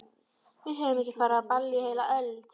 Við höfum ekki farið á ball í heila öld!